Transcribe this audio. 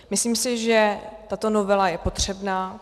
Myslím si, že tato novela je potřebná.